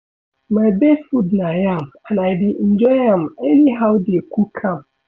My best food na yam and I dey enjoy am anyhow dey cook am